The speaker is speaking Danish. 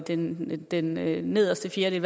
den den nederste fjerdedel